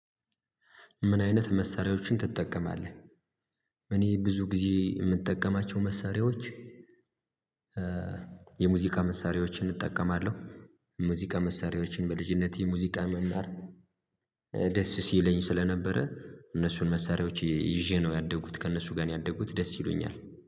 ምን አይነት መሳሪያዎችን ትጠቀማለህ? እኔ ብዙ ጊዜ የምጠቀማቸው መሳሪያዎች የሙዚቃ መሳሪያዎችን እጠቀማለሁ። የሙዚቃ መሳሪያዎችን በልጅነት የሙዚቃ መምህር ደስ ሲለኝ ስለነበረ እነሱን መሳሪያዎች ይዤ ነው ያደኩት ከእነሱ ጋር ነው ያደኩት ደስ ይሉኛል።